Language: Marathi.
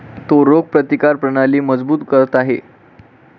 तो रोगप्रतिकार प्रणाली मजबूत करत आहे